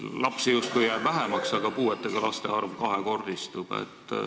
Lapsi jääb justkui vähemaks, aga puuetega laste arv kahekordistub.